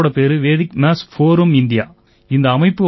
எங்க அமைப்போட பேரு வெடிக் மாத்ஸ் போரம் இந்தியா